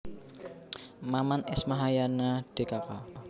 Maman S Mahayana dkk